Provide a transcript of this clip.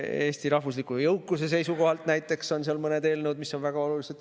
Näiteks on seal mõned eelnõud, mis on Eesti rahvusliku jõukuse seisukohalt väga olulised.